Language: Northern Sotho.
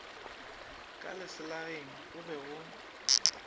ka leselageng go be go